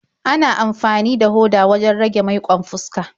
Ana amfani da hoda wajen rage maiƙon fuska.